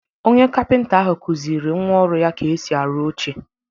Onye kapịnta ahụ kuziri nnwa ọrụ ya ka esi arụ oche.